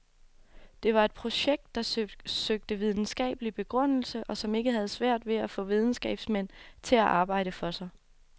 Det var et projekt, der søgte videnskabelig begrundelse og som ikke havde svært ved at få videnskabsmænd til at arbejde for sig.